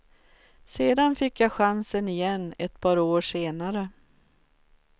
Sedan fick jag chansen igen ett par år senare.